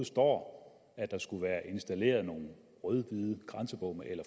står at der skulle være installeret nogle rød hvide grænsebomme eller